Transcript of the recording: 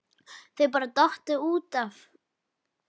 Þau hafa bara dottið út af